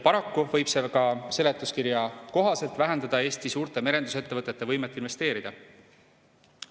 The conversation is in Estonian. Paraku võib see seletuskirja kohaselt vähendada ka Eesti suurte merendusettevõtete võimet investeerida.